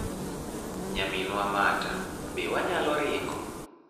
Nyaminwa Marta, be wanyalo ringo?'"